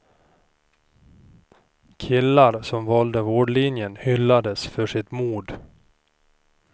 Killar som valde vårdlinjen hyllades för sitt mod.